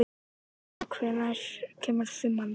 Eneka, hvenær kemur fimman?